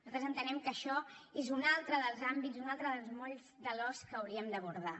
nosaltres entenem que això és un altre dels àmbits un altre dels molls de l’os que hauríem d’abordar